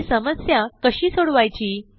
ही समस्या कशी सोडवायची